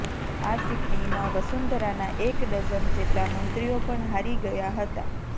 આ ચૂંટણીમાં વસુંધરાના એક ડઝન જેટલા મંત્રીઓ પણ હારી ગયા હતા